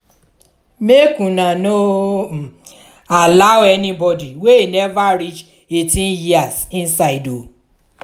make una no um allow anybodi wey neva reach eighteen years inside o.